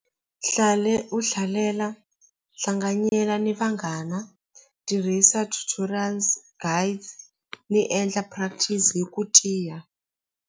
u hlalela hlanganyela ni vanghana tirhisa tutorials guide ni endla practice hi ku tiya.